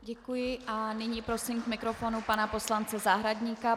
Děkuji a nyní prosím k mikrofonu pana poslance Zahradníka.